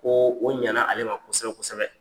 Ko o ɲana ale ma kosɛbɛ kosɛbɛ.